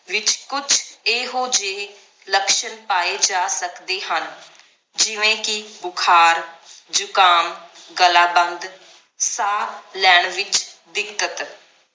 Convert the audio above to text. ਵਿਚ ਕੁਛ ਇਹੋ ਜਿਹੇ ਲਕਸ਼ਨ ਪਾਏ ਜਾ ਸਕਦੇ ਹਨ ਜਿਵੇ ਕਿ ਬੁਖਾਰ, ਜੁਖਾਮ, ਗਲਾ ਬੰਦ, ਸਾਹ ਲੈਣ ਵਿਚ ਦਿੱਕਤ।